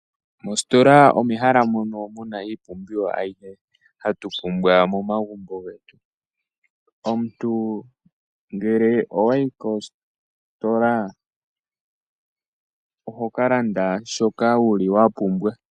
Mositola omo mehala mono muna iipumbiwa ayihe mbyono hatu pumbwa momagumbo getu. Omuntu ngele owayi kositola, oho kalanda shoka wuli wa pumbwa.